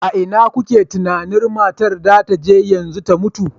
A ina kuke tunanin matar za ta je yanzu da ta mutu?